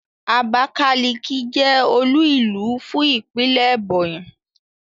Abákáliki jẹ́ olú-ìlú fún ìpínlè Ẹ̀bọ̀nyì.